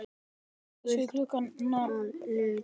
Það er gult að lit.